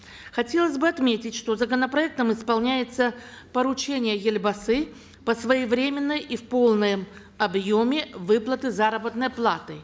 хотелось бы отметить что законопроектом исполняется поручение елбасы по своевременной и в полном объеме выплаты заработной платы